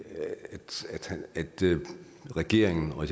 at regeringen og